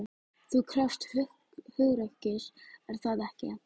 Það krefst hugrekkis, er það ekki?